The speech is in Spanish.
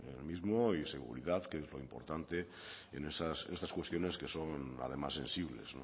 en el mismo y seguridad que es lo importante en estas cuestiones que son además sensibles